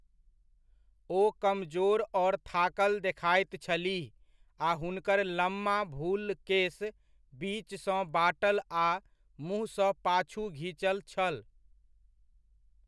ओ कमजोर और थाकल देखाइत छलीह आ हुनकर लम्बा भुल्ल केस, बीचसँ बाँटल आ मुँह सँ पाछू घिचल छल।